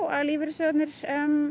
að lífeyrissjóðirnir